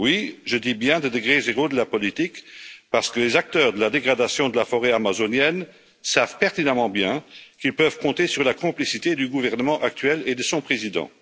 Oui, je dis bien degré zéro de la politique, parce que les acteurs de la dégradation de la forêt amazonienne savent pertinemment bien qu'ils peuvent compter sur la complicité du gouvernement actuel et de son président.